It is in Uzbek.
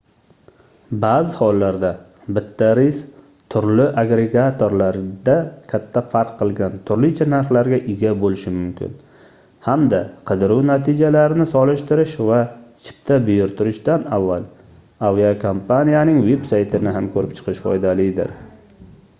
baʼzi hollarda bitta reys turli agregatorlarda katta farq bilan turlicha narxlarga ega boʻlishi mumkin hamda qidiruv natijalarini solishtirish va chipta buyurtirishdan avval aviakompaniyaning veb-saytini ham koʻrib chiqish foydalidir